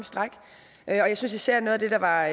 stræk jeg synes især noget af det der var